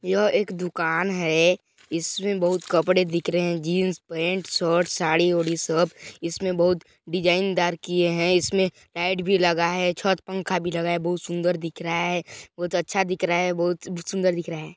यह एक दूकान है इसमें बहुत कपड़े दिख रहे है जिंस पैंट शर्ट सारी वारी सब इसमें बहुत डिजाइन दार किए हैं इसमें लाइट भी लगा है छत पंखा भी लगा हैं बहुत सुंदर दिख रहा है बहुत अच्छा दिख रहा है बहुत सुंदर दिख रहा है।